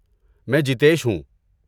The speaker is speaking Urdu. میں جیتیش ہوں۔